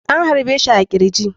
An harbe shi a kirji.